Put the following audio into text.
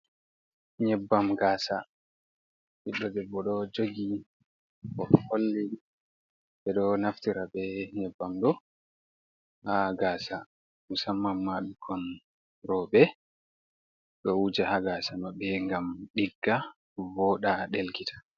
Nyebbam gasa ɓiɗɗo debbo ɗo jogi oɗo holli ɓe ɗo naftira be nyeɓɓam ɗo ha gasa musamman ma ɓikkon roɓɓe ɗo wuja ha gasa maɓbe ngam ɗigga voɗa delkita.